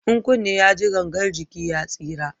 In kunne ya ji gangan jiki ya tsira